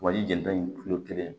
Wali jelita in kelen